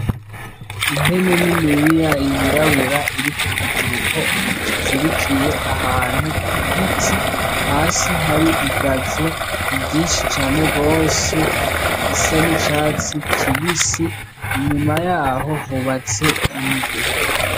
Impene niniya yirabura iri ku kiziriko kizirikiye ahantu ku giti, hasi hari igazo ryinshi cane gose risa n'icatsi kibisi, inyuma yaho hubatse inzu.